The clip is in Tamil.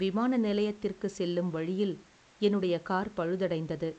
விமான நிலையத்திற்கு செல்லும் வழியில் என்னுடைய கார் பழுதடைந்தது,